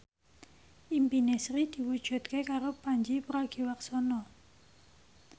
impine Sri diwujudke karo Pandji Pragiwaksono